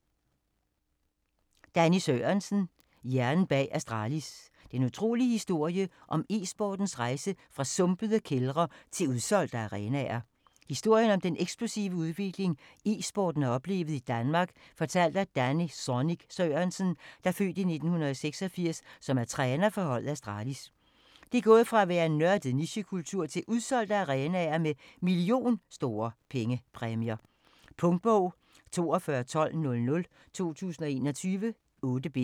Sørensen, Danny: Hjernen bag Astralis: den utrolige historie om e-sportens rejse fra sumpede kældre til udsolgte arenaer Historien om den eksplosive udvikling "e-sporten" har oplevet i Danmark fortalt af Danny "Zonic" Sørensen (f. 1986) som er træner for holdet Astralis. Det er gået fra at være en nørdet nichekultur til udsolgte arenaer med million-store pengepræmier. Punktbog 421200 2021. 8 bind.